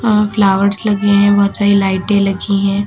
और फ्लावर्स लगे हैं बहुत सारी लाइटे लगी है।